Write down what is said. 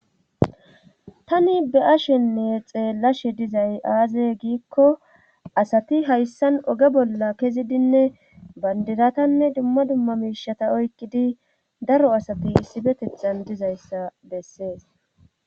Tani be'a shenne xeellashe dizay aaze giikko asati hayssan oge bolla kezidinne bandiratanne dumma dumma miishata oykkidi daro asati issibetexan dizayssa bessees.